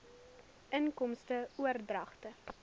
inkomste oordragte